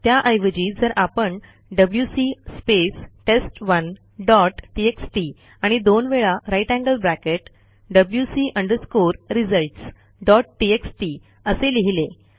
त्याऐवजी जर आपण WC space test one dot TXT आणि दोन वेळा grater than sign WC underscore results dot TXT असे लिहिले